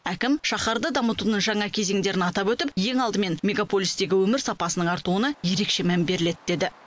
әкім шаһарды дамытудың жаңа кезеңдерін атап өтіп ең алдымен мегаполистегі өмір сапасының артуына ерекше мән беріледі деді